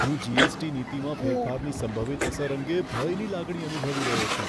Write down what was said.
હું જી.એસ.ટી. નીતિમાં ફેરફારની સંભવિત અસર અંગે ભયની લાગણી અનુભવી રહ્યો છું.